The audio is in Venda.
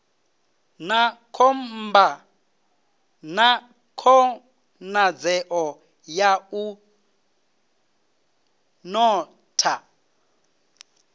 na khonadzeo ya u notha